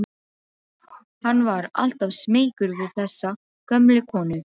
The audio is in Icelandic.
Hann var alltaf smeykur við þessa gömlu konu.